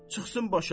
Çıxsın başa.